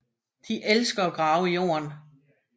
De elsker at grave i jorden